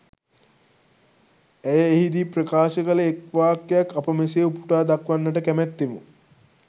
ඇය එහිදී ප්‍රකාශ කල එක් වාක්‍යයක් අප මෙසේ උපුටා දක්වන්නට කැමැත්තෙමු.